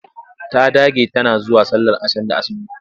Ta dage tana zuwa sallar ashan da aazumi.